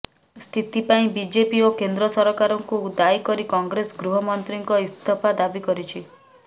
ସ୍ଥିତି ପାଇଁ ବିଜେପି ଓ କେନ୍ଦ୍ର ସରକାରକୁ ଦାୟୀ କରି କଂଗ୍ରେସ ଗୃହ ମନ୍ତ୍ରୀଙ୍କ ଉସ୍ତଫା ଦାବି କରିଛି